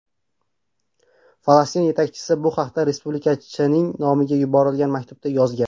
Falastin yetakchisi bu haqda respublikachining nomiga yuborilgan maktubda yozgan.